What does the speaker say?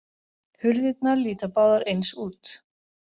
Hurðirnar líta báðar eins út.